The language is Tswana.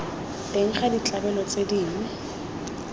teng ga ditlabelo tse dingwe